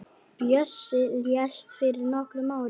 Bjössi lést fyrir nokkrum árum.